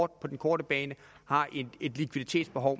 den korte bane har et likviditetsbehov